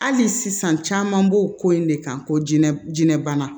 Hali sisan caman b'o ko in de kan ko jɛnɛ jinɛ bana